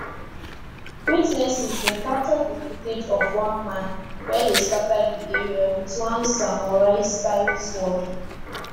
witnesses bin capture di footage of one man wey dey scata di area wit one samuraistyle sword